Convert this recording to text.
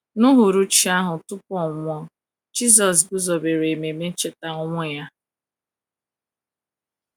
N’UHURUCHI ahụ tupu ọ nwụọ, Jisọs guzobere ememe ncheta ọnwụ ya.